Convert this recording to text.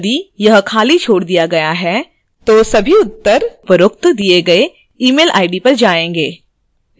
यदि यह खाली छोड़ दिया गया है तो सभी उत्तर जवाब उपरोक्त दिए गए email id पर जाएंगे